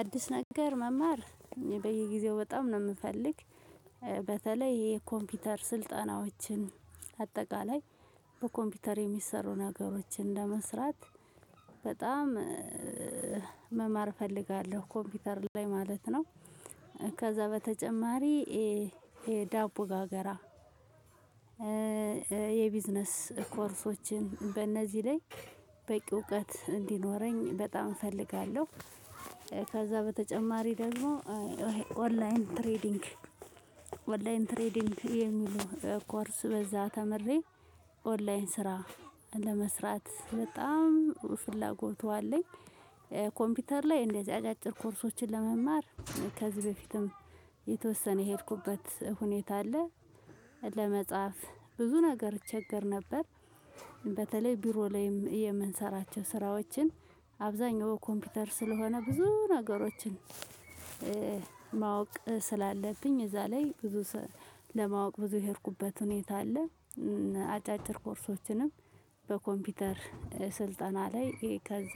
አዲስ ነገር መማር በየጊዜው በጣም ነው የምፈልግ። በተለይ የኮምፒውተር ስልጠናዎችን አጠቃላይ በኮምፒውተር የሚሰሩ ነገሮችን ለመስራት በጣም መማር እፈልጋለሁ። ኮምፒውተር ላይ ማለት ነው። ከዛ በተጨማሪ ይሄ ዳቦ ጋገራ። የቢዝነስ ኮርሶችን በእነዚህ ላይ በቂ እውቀት እንዲኖረኝ በጣም እፈልጋለሁ። ከዛ በተጨማሪ ደግሞ ኦንላይን ትሬዲንግ ኦንላይን ትሬዲንግ የሚሉ ኮርስ በዛ ተምሬ ኦንላይን ስራ ለመስራት በጣም ፍላጎቱ አለኝ። ኮምፒውተር ላይ እንደዚህ አጫጭር ኮርሶችን ለመማር ከዚህ በፊትም የተወሰነ የሄድኩበት ሁኔታ አለ። ለመጻፍ ብዙ ነገር እቸገር ነበር። በተለይ ቢሮ ላይም የምንሰራቸው ስራዎችን አብዛኛው በኮምፒውተር ስለሆነ ብዙ ነገሮችን። ማወቅ ስላለብኝ እዛ ላይ ብዙ ለማወቅ ብዙ የሄድኩበት ሁኔታ አለ። አጫጭር ኮርሶችንም በኮምፒውተር ስልጠና ላይ ከዛ።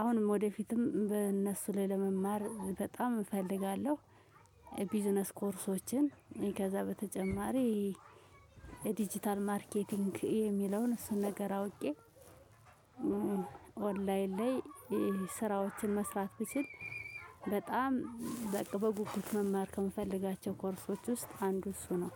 አሁንም ወደፊትም በእነሱ ላይ ለመማር በጣም እፈልጋለሁ። ቢዝነስ ኮርሶችን ከዛ በተጨማሪ ዲጂታል ማርኬቲንግ የሚለውን እሱን ነገር አውቄ። ኦንላይን ላይ ስራዎችን መስራት ብችል በጣም በቃ በጉጉት መማር ከምፈልጋቸው ኮርሶች ውስጥ አንዱ እሱ ነው።